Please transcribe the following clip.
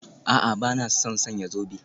A'a, ba na son sanya zobe